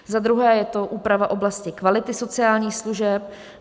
Za druhé je to úprava oblasti kvality sociálních služeb.